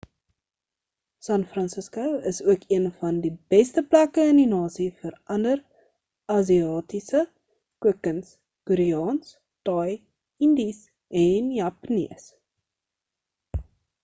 san francisco is ook een van die beste plekke in die nasie vir ander asiatiese kookkuns koreaans thai indies en japanees